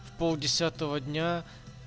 в пол десятого дня